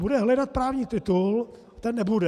Bude hledat právní titul - ten nebude.